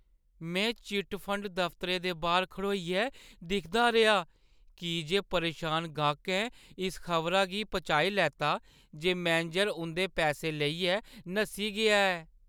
में chit fund दफ्तरै दे बाह्‌र खड़ोइयै दिखदा रेहा की जे परेशान गाह्कें इस खबरा गी पचाई लैता जे मैनेजर उंʼदे पैसे लेइयै नस्सी गेआ ऐ।